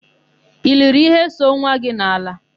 I liri íhé so nwa gị n'ala?